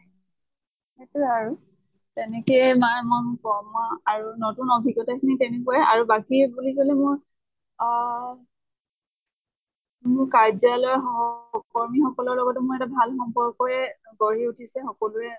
সেইতোয়ে আৰু। তেনেকে মায়ে মৰ কৰ্ম আৰু নতুন অভিজ্ঞ্তা খিনি তেনেকুৱাই আৰু বাকী বুলি কʼলে মোৰ অহ মৰ কাৰ্সালয়ৰ সহকৰ্মি সকলৰ লগতো মই এটা ভাল সম্পৰ্কয়ে গঢ়ি উঠিছে। সকলোৱে